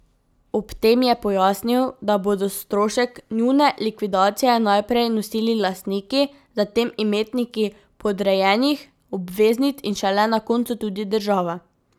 Ob tem je pojasnil, da bodo strošek njune likvidacije najprej nosili lastniki, zatem imetniki podrejenih obveznic in šele na koncu tudi država.